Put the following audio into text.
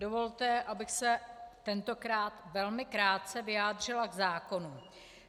Dovolte, abych se tentokrát velmi krátce vyjádřila k zákonu.